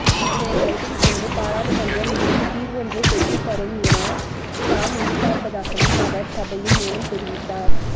இதனை கருத்தில் கொண்டு பாராளுமன்றம் இதற்கு தீர்வொன்றைப் பெற்றுத் தரும் என தாம் எதிர்பார்ப்பதாகவும் அவர் சபையில் மேலும் தெரிவித்தார்